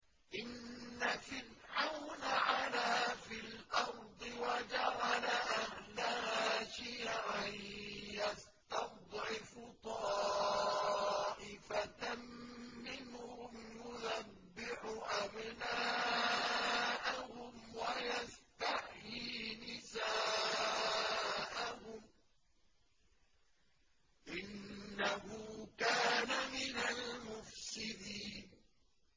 إِنَّ فِرْعَوْنَ عَلَا فِي الْأَرْضِ وَجَعَلَ أَهْلَهَا شِيَعًا يَسْتَضْعِفُ طَائِفَةً مِّنْهُمْ يُذَبِّحُ أَبْنَاءَهُمْ وَيَسْتَحْيِي نِسَاءَهُمْ ۚ إِنَّهُ كَانَ مِنَ الْمُفْسِدِينَ